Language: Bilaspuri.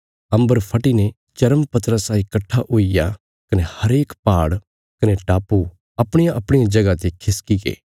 अम्बरा फटीने चर्म पत्रा साई कट्ठा हुईग्या कने हरेक पहाड़ कने टापु अपणियाअपणिया जगह ते खिसकी गे